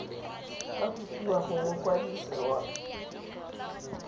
ka kopiwa go mokwadise wa